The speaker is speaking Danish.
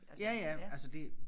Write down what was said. Ja ja altså det